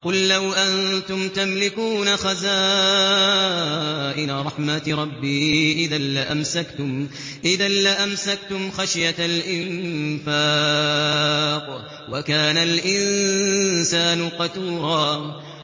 قُل لَّوْ أَنتُمْ تَمْلِكُونَ خَزَائِنَ رَحْمَةِ رَبِّي إِذًا لَّأَمْسَكْتُمْ خَشْيَةَ الْإِنفَاقِ ۚ وَكَانَ الْإِنسَانُ قَتُورًا